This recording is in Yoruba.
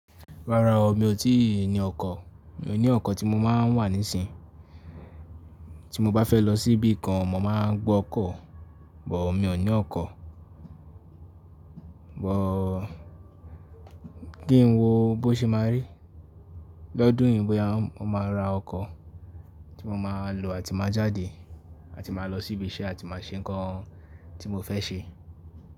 Rárá o, mi ò tí ì ní ọkọ́, mi ò ní ọkọ́ tí mo máa ń wà nísìnyí. Tí mo bá fẹ́ lọ síbí kan, mo máa ń gbọ́ ọkọ́, but mi ò ní ọkọ́, but, ki ń wo bó ṣe máa rí lọ́dún yìí bóyá mo máa ra ọkọ́ tí mo máa lò àti máa jáde àti máa lọ síbi iṣẹ́ àti máa ṣe nǹkan tí mo fẹ́ ṣe.